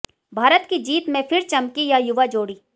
भारत की जीत में फिर चमकी यह युवा जोड़ी